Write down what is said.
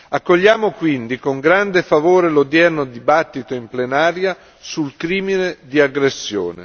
Accogliamo quindi con grande favore l'odierno dibattito in plenaria sul crimine di aggressione.